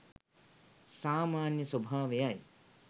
සාමාන්‍ය ස්වභාවයයි